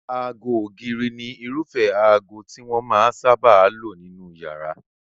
Aago ògiri ni irúfẹ́ aago tí wọ́n máa sáábà lò sí inú iyàrá.